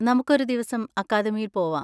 നമുക്ക് ഒരു ദിവസം അക്കാദമിയിൽ പോവാം!